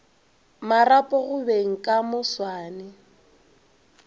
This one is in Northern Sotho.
marapo go beng ka moswane